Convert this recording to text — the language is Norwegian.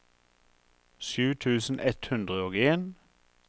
sju tusen ett hundre og en